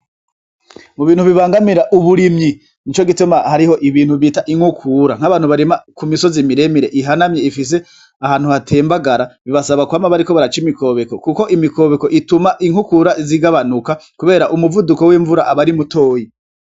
Mu bintu bibangamira uburimyi ni co gituma hariho ibintu bita inkukura nk'abantu barima ku misozi miremire ihanamye ifise ahantu hatembagara bibasaba kwama bariko baraca imikobeko, kuko imikobeko ituma inkukura zigabanuka, kubera umuvuduko w'imvura abari mutoyi.